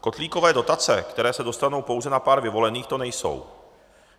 Kotlíkové dotace, které se dostanou pouze na pár vyvolených, to nejsou.